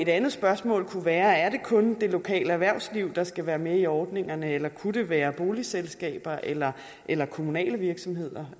andet spørgsmål kunne være er det kun det lokale erhvervsliv der skal være med i ordningerne eller kunne det være boligselskaber eller eller kommunale virksomheder